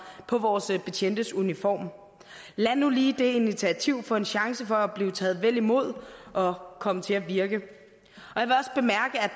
på vores betjentes uniform lad nu lige det initiativ få en chance for at blive taget vel imod og komme til at virke